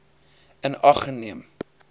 in ag geneem